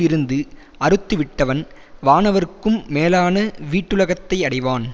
இருந்து அறுத்து விட்டவன் வானவர்க்கும் மேலான வீட்டுலகத்தை அடைவான்